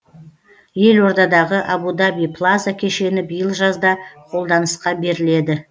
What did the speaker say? елордадағы абу даби плаза кешені биыл жазда қолданысқа беріледі